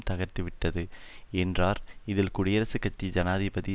தகர்த்துவிட்டது என்றார் இதில் குடியரசக் கட்சி ஜனாதிபதி